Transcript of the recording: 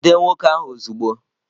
Jide nwoke ahụ ozugbo!